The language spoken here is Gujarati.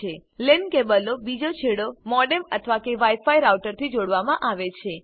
લેન કેબલનો બીજો છેડો મોડેમ અથવા વાઈ ફાય રાઉટરથી જોડવામાં આવે છે